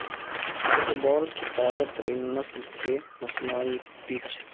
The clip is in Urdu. فٹ بال کی تازہ ترین نسل کے مصنوعی پچ